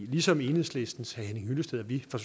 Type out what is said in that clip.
ligesom enhedslistens herre henning hyllested er vi fra